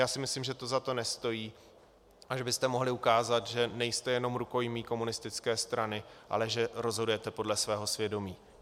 Já si myslím, že to za to nestojí a že byste mohli ukázat, že nejste jenom rukojmí komunistické strany, ale že rozhodujete podle svého svědomí.